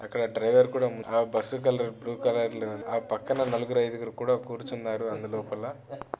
అక్కడ డ్రైవర్ కూడా bus colour blue colour ఆ పక్కన నలుగురు ఐదుగురు కూడా కూర్చున్నారు. అందు లోపల--